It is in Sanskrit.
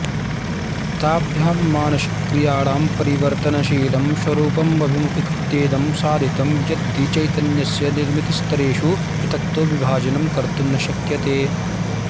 ताभ्यां मानसिकक्रियाणां परिवर्तनशीलं स्वरूपमभिमुखीकृत्येदं साधितं यद्धि चैतन्यस्य निर्मितिस्तरेषु पृथक्तो विभाजनं कर्तुं न शक्यते